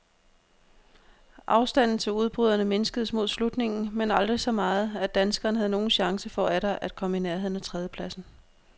Afstanden til udbryderne mindskedes mod slutningen, men aldrig så meget, at danskeren havde nogen chance for atter at komme i nærheden af tredjepladsen.